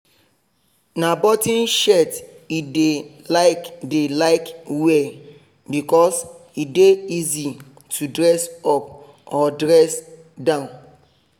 na button shirt e dey like dey like wear because e dey easy to dress up or dress down